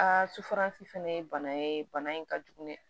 sufaransi fɛnɛ ye bana ye bana in ka jugu dɛ